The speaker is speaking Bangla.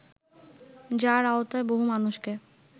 যার আওতায় বহু মানুষকে